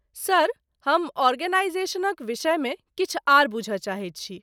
Sir, हम आर्गेनाईजेशनक विषयमे किछु आर बुझय चाहैत छी।